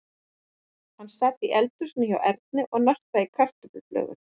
Hann sat í eldhúsinu hjá Erni og nartaði í kartöfluflögur.